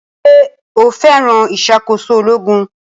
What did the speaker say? Ṣé o fẹ́ràn ìṣàkóso ológun